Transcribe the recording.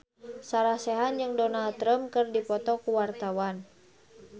Sarah Sechan jeung Donald Trump keur dipoto ku wartawan